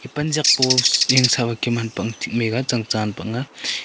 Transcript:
e panziak po s yang sah ba kem hanpak ang thik maiga tsang tsa hanpak ang a.